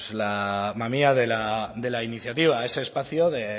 la mamia de la iniciativa ese espacio de